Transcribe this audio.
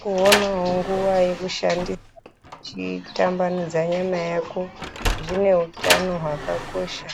Kuonawo nguva yekushande uchitambanudza nyama yako zvine utano hwakakosha